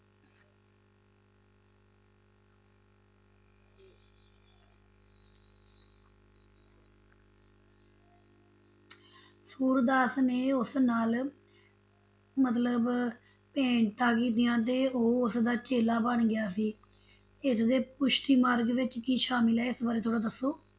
ਸੂਰਦਾਸ ਨੇ ਉਸ ਨਾਲ, ਮਤਲਬ ਭੇਟਾ ਕੀਤੀਆਂ ਤੇ ਉਹ ਉਸ ਦਾ ਚੇਲਾ ਬਣ ਗਿਆ ਸੀ ਇਸ ਦੇ ਪੁਸ਼ਟੀ ਮਾਰਗ ਵਿਚ ਕੀ ਸ਼ਾਮਿਲ ਹੈ ਇਸ ਬਾਰੇ ਥੋੜਾ ਦੱਸੋ?